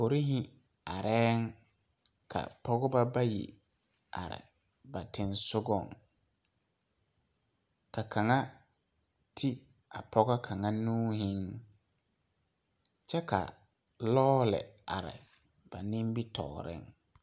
Porehi areɛɛŋ ka pɔgeba bayi are baç teŋsugɔŋ ka kaŋa te a pɔgɔ kaŋa nuuhiŋ kyɛ ka lɔɔle are ba nimitooreŋ.